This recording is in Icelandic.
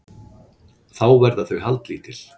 Þá verða þau haldlítil